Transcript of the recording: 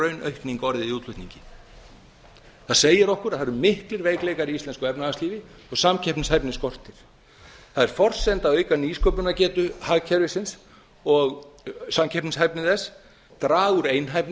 raunaukning orðið í útflutningi það segir okkur að það eru miklir veikleikar í íslensku efnahagslífi og samkeppnisgetu skortir það er forsenda að auka nýsköpunargetu hagkerfisins og samkeppnishæfni þess draga úr einhæfni